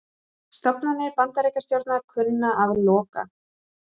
Stofnanir Bandaríkjastjórnar kunna að loka